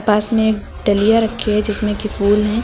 पास में एक डलिया रखी है जिसमें कि फूल हैं।